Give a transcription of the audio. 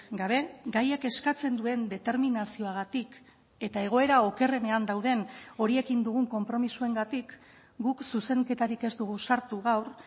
gabe gaiak eskatzen duen determinazioagatik eta egoera okerrenean dauden horiekin dugun konpromisoengatik guk zuzenketarik ez dugu sartu gaur